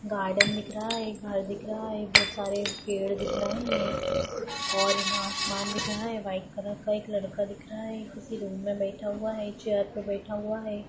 Garden दिख रहा है एक घर दिख रहा है बहूत सारे पेड़ दिख रहे हैं और यहाँ आसमान दिख रहा है वाइट कलर का एक लड़का दिख रहा है किसी रूम में बैठ हुआ है एक चेयर पर बैठ हुआ है।